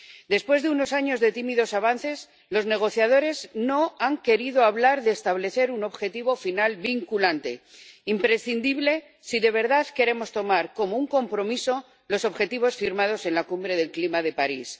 Después de unos años de tímidos avances, los negociadores no han querido hablar de establecer un objetivo final vinculante, imprescindible si de verdad queremos tomar como un compromiso los objetivos firmados en la Cumbre del Clima de París.